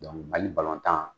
Donc hali balontan